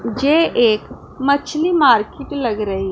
मुझे एक मछली मार्केट लग रही--